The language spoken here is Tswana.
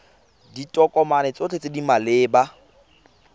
ditokomane tsotlhe tse di maleba